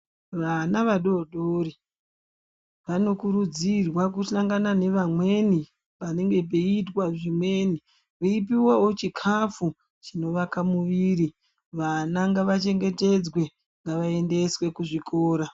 Vana vadori dori vanokurudzirwa kuhlangana navamweni panenge peiitwa zvimweni veipuwavo chikafu chinovaka muviri. Vana ngavachengetedzwe, ngavaendeswe kuzvikora.